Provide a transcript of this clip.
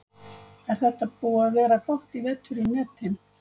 Er þetta búið að vera gott í vetur í netin?